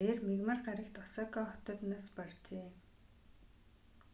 тэрээр мягмар гарагт осака хотод нас баржээ